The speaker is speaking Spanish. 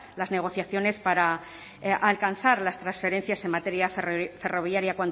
las negociaciones para alcanzar las transferencias en materia ferroviaria